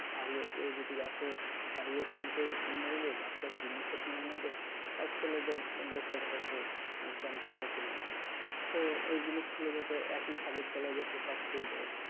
শাড়ি ও কেউ যদি আসে শাড়িও কিনতে কিনে নেবে বাচ্চার জিনিসও কিনে নেবে আর ছেলেদের লোকের হয়তো pant shirt ও কিনে নিলো তো এই জিনিসগুলো যাতে একই ছাদের তলায় যাতে সব পেয়ে যায়,